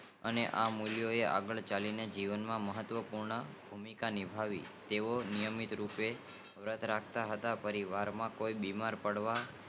અને આ મ્યુલીયો આ આગળ ચાલીને જીવન માં મહત્વ્ય પૂર્ણ ભૂમિકા ની ભાવે તેઓ નિયમિત રૂપે વ્રત રાખતા હતા પરિવાર માં કોઈ બીમાર પાળિયા